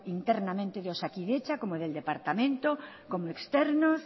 internamente de osakidetza como del departamento como externos